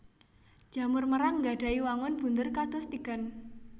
Jamur merang nggadhahi wangun bunder kados tigan